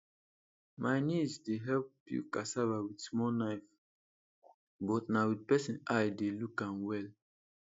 my niece dey help peel cassava with small knife but na with person eye dey look am well